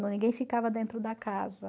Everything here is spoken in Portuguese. Ninguém ficava dentro da casa.